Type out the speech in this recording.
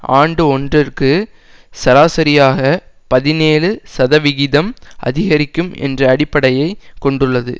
ஆண்டு ஒன்றிற்கு சராசரியாக பதினேழு சதவிகிதம் அதிகரிக்கும் என்ற அடிப்படையை கொண்டுள்ளது